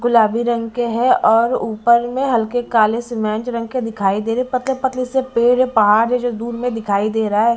गुलाबी रंग के हैं और ऊपर में हल्के काले सीमेंट रंग के दिखाई दे रहे हैं पतले-पतले से पेड़ है पहाड़ है जो दूर में दिखाई दे रहा है।